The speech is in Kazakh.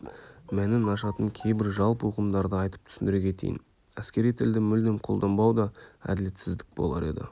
мәнін ашатын кейбір жалпы ұғымдарды айтып түсіндіре кетейін әскери тілді мүлдем қолданбау да әділетсіздік болар еді